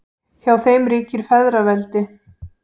Hjá þeim ríkir feðraveldi.